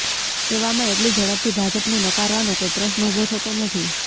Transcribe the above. એવામાં એટલી ઝડપથી ભાજપને નકારવાનો કોઇ પ્રશ્ન ઉભો થતો નથી